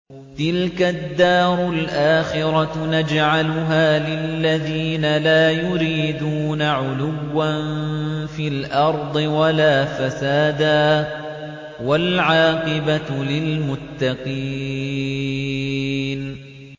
تِلْكَ الدَّارُ الْآخِرَةُ نَجْعَلُهَا لِلَّذِينَ لَا يُرِيدُونَ عُلُوًّا فِي الْأَرْضِ وَلَا فَسَادًا ۚ وَالْعَاقِبَةُ لِلْمُتَّقِينَ